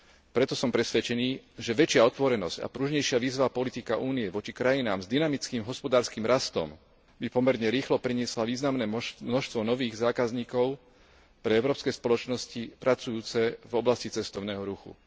Preto som presvedčený, že väčšia otvorenosť a pružnejšia vízová politika Únie voči krajinám s dynamickým hospodárskym rastom by pomerne rýchlo priniesla významné množstvo nových zákazníkov pre európske spoločnosti pracujúce v oblasti cestovného ruchu.